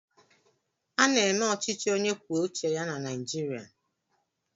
A na-eme ọchịchị onye kwuo uche ya na Naijiria.